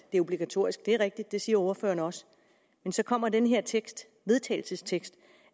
det er obligatorisk det er rigtigt det siger ordføreren også men så kommer den her vedtagelsestekst